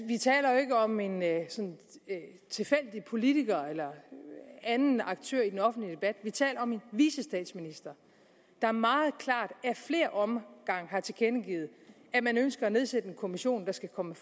vi taler jo ikke om en tilfældig politiker eller en anden aktør i den offentlige debat vi taler om en vicestatsminister der meget klart ad flere omgange har tilkendegivet at man ønsker at nedsætte en kommission der skal komme